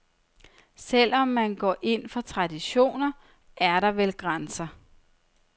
Selv om man går ind for traditioner, er der vel grænser.